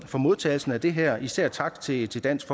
for modtagelsen af det her især tak til til dansk